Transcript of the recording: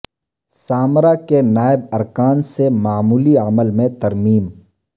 Samarra کے نائب ارکان سے معمولی عمل میں ترمیم